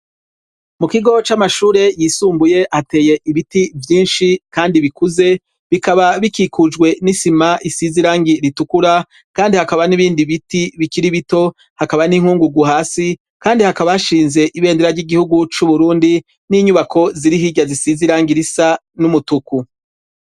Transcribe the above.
mu kigo c'amashure yisumbuye hateye ibiti vyinshi kandi bikuze bikaba bikikujwe n'isima isizirangi ritukura kandi hakaba n'ibindi biti bikiri bito hakaba n'inkungugu hasi kandi hakaba hashinze ibendera ry'igihugu c'uburundi n'inyubako ziri hijya zisizirangi risa n'umutuku